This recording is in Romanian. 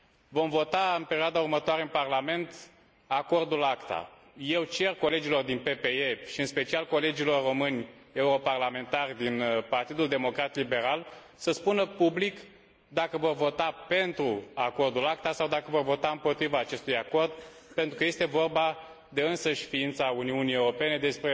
Vom vota în perioada următoare, în Parlament, acordul ACTA. Eu cer colegilor din PPE și, în special, colegilor români europarlamentari din Partidul Democrat Liberal, să spună public dacă vor vota pentru Acordul ACTA sau dacă vor vota împotriva acestui acord pentru că este vorba de însăși ființa Uniunii Europene, de